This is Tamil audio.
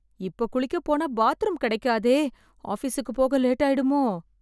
இப்ப குளிக்கப் போனா பாத்ரூம் கெடைக்காதே... ஆபிஸுக்கு போக லேட்டாயிடுமோ.